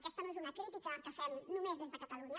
aquesta no és una crítica que fem només des de catalunya